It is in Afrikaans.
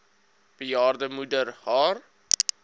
bejaarde moeder haar